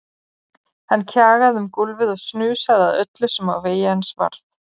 Hann kjagaði um gólfið og snusaði að öllu sem á vegi hans varð.